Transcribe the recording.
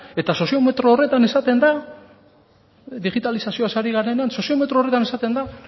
eta soziometro horretan esaten da digitalizazioaz ari garenean soziometro horretan esaten da